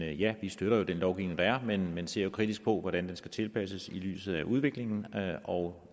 ja vi støtter den lovgivning der er men men ser jo kritisk på hvordan den skal tilpasses i lyset af udviklingen og